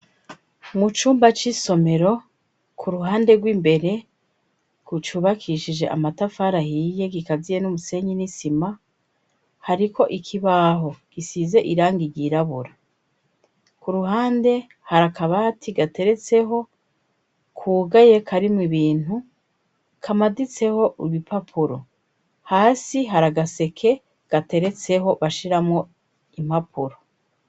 Mu cumba c'isomero, ku ruhande rw'imbere gucubakishije amatafara hiye gikaziye n'umusenyi n'isima hariko ikibaho gisize irangi ryirabura. Ku ruhande hari akabati gateretseho kugaye karimwo ibintu, kamaditseho ibipapuro. Hasi hari agaseke agaseke, gateretseho bashiramwo impapuro.